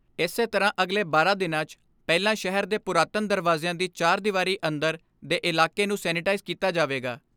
ਇਸੇ ਤਰ੍ਹਾਂ ਅਗਲੇ ਬਾਰਾਂ ਦਿਨਾਂ 'ਚ ਪਹਿਲਾਂ ਸ਼ਹਿਰ ਦੇ ਪੁਰਾਤਨ ਦਰਵਾਜਿਆਂ ਦੀ ਚਾਰ ਦੀਵਾਰੀ ਅੰਦਰ ਦੇ ਇਲਾਕੇ ਨੂੰ ਸੈਨੇਟਾਈਜ਼ ਕੀਤਾ ਜਾਵੇਗਾ।